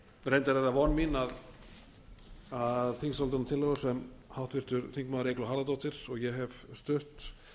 reyndar er það von mín að þingsályktunartillaga sem háttvirtur þingmaður eygló harðardóttir og ég hef stutt